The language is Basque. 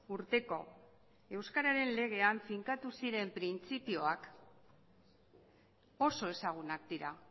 urteko euskararen legean finkatu ziren printzipioak oso ezagunak dira